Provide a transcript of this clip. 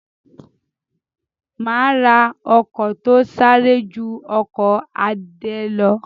Má ra ọkọ̀ to sáré ju ọkọ̀ Adé lọ